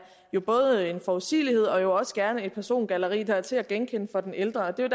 en forudsigelighed og jo også gerne et persongalleri der er til at genkende for den ældre det er